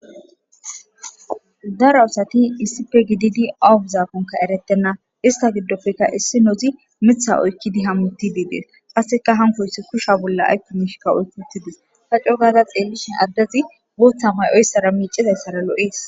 daraasati issipe gididi awuguzaakonka eretenna ista giddofeka issi nozi mitha oykkidi hammuti diidees qasseka hankoyssi kusha bolla aykkomishkka oyki uttidis hacco gaaza xeellishe addezi bootham hay7oyssara miicizayssara lo7ees